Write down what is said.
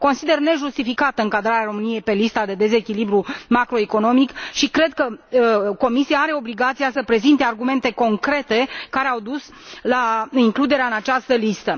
Consider nejustificată încadrarea României pe lista de dezechilibru macroeconomic și cred că Comisia are obligația să prezinte argumentele concrete care au dus la includerea în această listă.